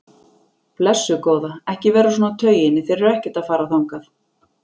Blessuð góða, ekki vera svona á tauginni, þeir eru ekkert að fara þangað.